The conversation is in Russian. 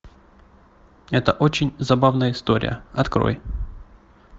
это очень забавная история открой